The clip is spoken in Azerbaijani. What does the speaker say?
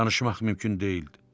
Danışmaq mümkün deyildi.